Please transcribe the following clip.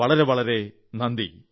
വളരെ വളരെ നന്ദി